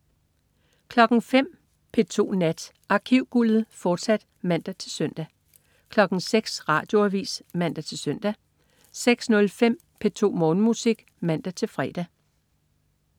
05.00 P2 Nat. Arkivguldet, fortsat (man-søn) 06.00 Radioavis (man-søn) 06.05 P2 Morgenmusik (man-fre)